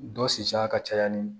Dɔ sisiya ka caya ni